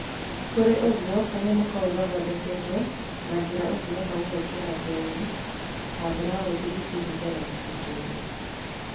kũrĩ ũgũo kanyamũ kaũ gathondeketwo nanjĩra ũngĩhota gũgekĩra ngũonĩ ta blaũthi ĩrĩnda na mubuto-ĩnĩ